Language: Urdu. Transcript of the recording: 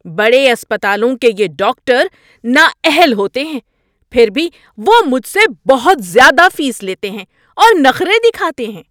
بڑے اسپتالوں کے یہ ڈاکٹر نااہل ہوتے ہیں، پھر بھی وہ مجھ سے بہت زیادہ فیس لیتے ہیں اور نخرے دکھاتے ہیں۔